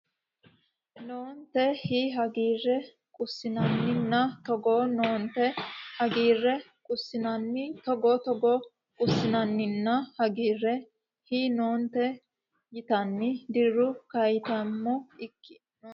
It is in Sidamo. noonte hi hagiirre qussinanninna Togo noonte hi hagiirre qussinanninna Togo Togo qussinanninna hagiirre hi noonte yitanni Diru kaayyaataamo ikko ne !